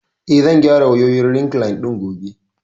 Eh, zan gyara wayoyin rekliine ɗin gobe